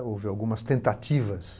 Houve algumas tentativas